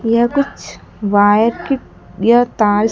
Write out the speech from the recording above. यह कुछ वायर की यह तार--